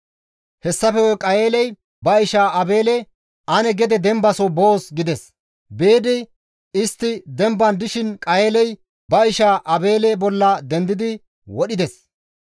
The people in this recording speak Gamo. Hessafe guye Qayeeley ba isha Aabeele, «Ane gede dembaso boos» gides. Biidi istti demban dishin Qayeeley ba isha Aabeele bolla dendidi wodhides.